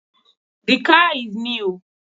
The car is new